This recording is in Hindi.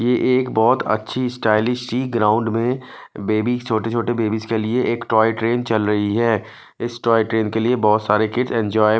ये एक बहुत अच्छी स्टाइलिश सी ग्राउंड में बेबी छोटे छोटे बेबीस के लिए एक टॉय ट्रेन चल रही है इस टॉय ट्रेन के लिए बहुत सारे किड एंजॉय --